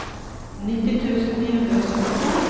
nitti tusen ni hundre og syttito